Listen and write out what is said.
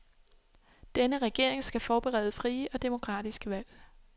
Denne regering skal forberede frie og demokratiske valg.